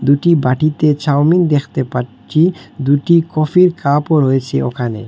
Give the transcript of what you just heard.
দুটি বাটিতে চাউমিন দ্যাখতে পাচ্চি দুটি কফির কাপও রয়েছে ওখানে।